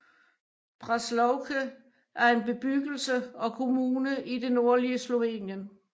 Braslovče er en bebyggelse og kommune i det nordlige Slovenien